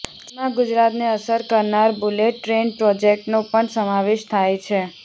જેમાં ગુજરાતને અસર કરનાર બુલેટ ટ્રેન પ્રોજેક્ટનો પણ સમાવેશ થાય છે